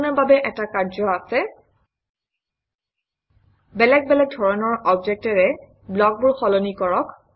আপোনাৰ বাবে কৰণীয় কাৰ্য আছে - বেলেগ বেলেগ ধৰণৰ অবজেক্টেৰে ব্লকবোৰ সলনি কৰক